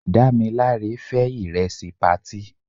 Dámilare fé ìrẹsì patí.